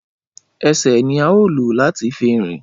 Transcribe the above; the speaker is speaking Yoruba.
Ẹsẹ ni a o lo lati fi rìn